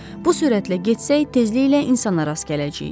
Bu sürətlə getsək tezliklə insana rast gələcəyik.